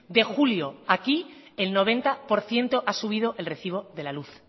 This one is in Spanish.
de julio aquí el noventa por ciento ha subido el recibo de la luz